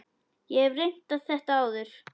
Ég hef reynt þetta áður.